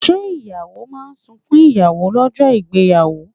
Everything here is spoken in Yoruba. Ṣé ìyàwó máa sunkún ìyàwó lọ́jọ́ ìgbéyàwó?